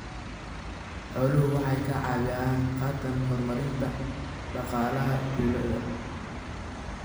Xooluhu waxay ka qayb qaataan horumarinta dhaqaalaha tuulada.